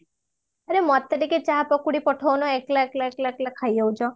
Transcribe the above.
ଆରେ ମତେ ଟିକେ ଚାହା ପକୁଡି ପଠଉନ ଏକେଲା ଏକେଲା ଏକେଲା ଖାଇ ଯାଉଚ୍ଛ